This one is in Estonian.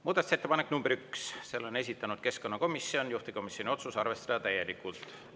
Muudatusettepanek nr 1, selle on esitanud keskkonnakomisjon, juhtivkomisjoni otsus: arvestada täielikult.